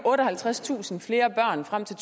otteoghalvtredstusind flere børn frem til